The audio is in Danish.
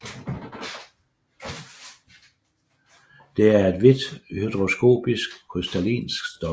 Det er et hvidt hygroskopisk krystallinsk stof